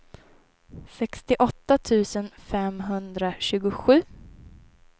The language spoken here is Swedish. sextioåtta tusen femhundratjugosju